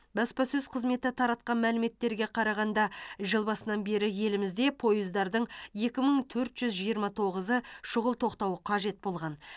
баспасөз қызметі таратқан мәліметтерге қарағанда жыл басынан бері елімізде пойыздардың екі мың төрт жүз жиырма тоғызы шұғыл тоқтауы қажет болған